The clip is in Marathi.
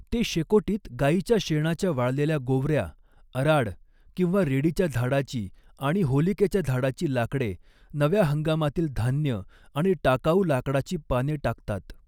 ते शेकोटीत गाईच्या शेणाच्या वाळलेल्या गोवऱ्या, अराड किंवा रेडीच्या झाडाची आणि होलिकेच्या झाडाची लाकडे, नव्या हंगामातील धान्य आणि टाकाऊ लाकडाची पाने टाकतात.